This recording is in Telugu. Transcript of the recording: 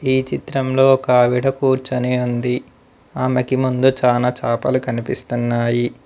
ఈ చిత్రంలో ఒక ఆవిడ కూర్చునే ఉంది ఆమెకి ముందు చాలా చాపలు కనిపిస్తున్నాయి.